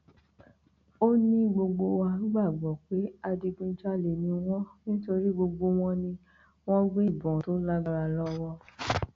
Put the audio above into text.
ó ní gbogbo wa gbàgbọ pé adigunjalè ni wọn nítorí gbogbo wọn ni wọn gbé ìbọn tó lágbára lọwọ